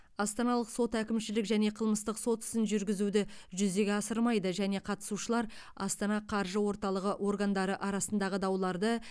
астаналық сот әкімшілік және қылмыстық сот ісін жүргізуді жүзеге асырмайды және қатысушылар астана қаржы орталығы органдары арасындағы дауларды